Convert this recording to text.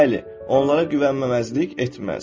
Bəli, onlara güvənməməzlik etməz.